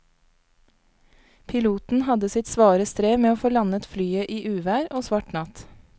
Piloten hadde sitt svare strev med å få landet flyet i uvær og svart natt.